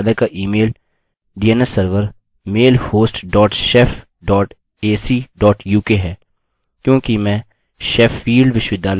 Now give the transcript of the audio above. मैं जानता हूँ कि मेरे विश्वविद्यालय का email dns server mailhost dot shef dot ac dot uk है क्योंकि मैं शेफील्ड sheffield विश्वविद्यालय में हूँ